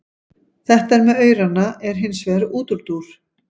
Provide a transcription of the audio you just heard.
Þetta með aurana er hins vegar útúrdúr.